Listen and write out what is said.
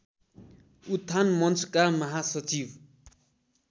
उत्थान मञ्चका महासचिव